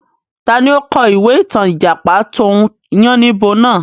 Taàní ó kọ̀ ìwé ìtàn Ìjàpá tòun yànnìbo náà?